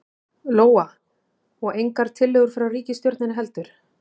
Lóa: Og engar tillögur frá ríkisstjórninni heldur?